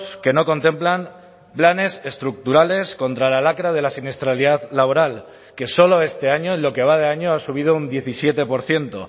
que no contemplan planes estructurales contra la lacra de la siniestralidad laboral que solo este año en lo que va de año ha subido un diecisiete por ciento